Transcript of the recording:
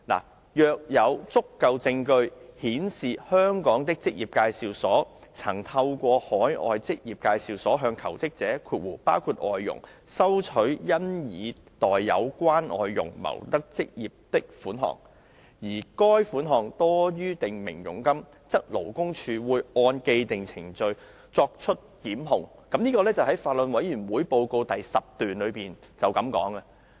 就是"若有足夠證據顯示香港的職業介紹所曾透過海外職業介紹所向求職者收取因已代有關外傭謀得職業的款項，而該款項多於訂明佣金，則勞工處會按既定程序作出檢控。"這是法案委員會的報告第10段的內容。